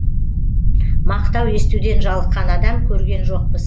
мақтау естуден жалыққан адам көрген жоқпыз